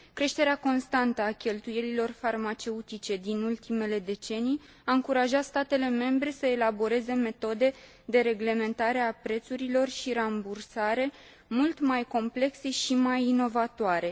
Creșterea constantă a cheltuielilor farmaceutice din ultimele decenii a încurajat statele membre să elaboreze metode de reglementare a prețurilor și de rambursare mult mai complexe și mai inovatoare.